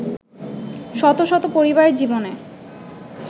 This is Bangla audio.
শত শত পরিবারের জীবনে